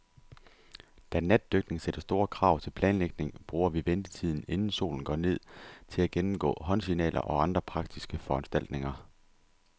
Da natdykning sætter store krav til planlægning, bruger vi ventetiden, inden solen går ned, til at gennemgå håndsignaler og andre praktiske foranstaltninger.